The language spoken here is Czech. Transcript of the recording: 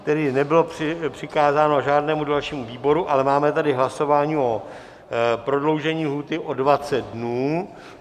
Tedy nebylo přikázáno žádnému dalšímu výboru, ale máme tady hlasování o prodloužení lhůty o 20 dnů.